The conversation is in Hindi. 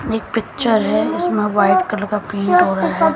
एक पिक्चर है जिसमें व्हाइट कलर का पेंट हो रहा है।